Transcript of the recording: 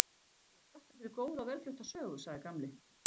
Ég þakka fyrir góða og vel flutta sögu sagði Gamli.